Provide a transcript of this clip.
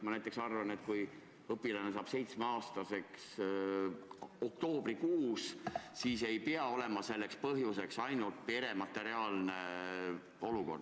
Mina näiteks arvan, et kui laps saab 7-aastaseks oktoobrikuus, siis ei pea selleks põhjuseks tingimata olema pere materiaalne olukord.